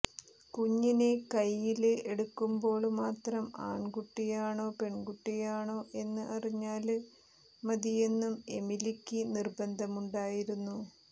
കുഞ്ഞിനെ കൈയ്യില് എടുക്കുമ്പോള് മാത്രം ആണ്കുട്ടിയാണോ പെണ്കുട്ടിയാണോ എന്ന് അറിഞ്ഞാല് മതിയെന്നും എമിലിക്ക് നിര്ബന്ധമുണ്ടായിരുന്നു